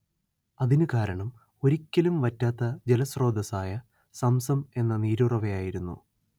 അതിനു കാരണം ഒരിക്കലും വറ്റാത്ത ജലസ്രോതസ്സായ സംസം എന്ന നീരുറവയായിരുന്നു